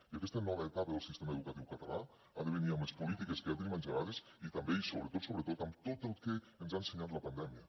i aquesta nova etapa del sistema educatiu català ha de venir amb les polítiques que ja tenim engegades i també i sobretot sobretot amb tot el que ens ha ensenyat la pandèmia